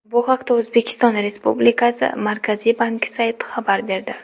Bu haqda O‘zbekiston Respublikasi Markaziy banki sayti xabar berdi .